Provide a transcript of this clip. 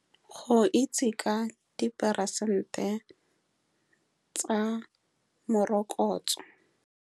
Go itse ka diporesente tsa morokotso.